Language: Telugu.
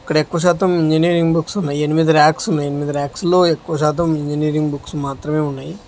ఇక్కడ ఎక్కువ శాతం ఇంజనీరింగ్ బుక్స్ ఉన్నయి ఎనిమిది ర్యక్స్ ఉన్నాయ్ ఎనిమిది ర్యక్స్ లో ఎక్కువ శాతం ఇంజనీరింగ్ బుక్స్ మాత్రమే ఉన్నాయి.